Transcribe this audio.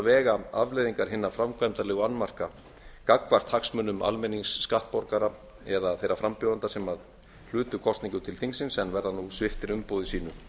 vega afleiðingar hinna framkvæmdalegu annmarka gagnvart hagsmunum almennings skattborgara eða þeirra frambjóðenda sem hlutu kosningu til þingsins en verða nú sviptir umboði sínu